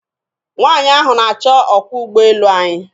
Nwanyị ahụ na-achọ ọkwọ ụgboelu anyị.